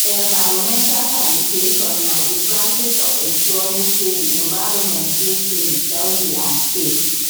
environmental sanitation na di practice of ensuring say di environment dey clean healthy and safe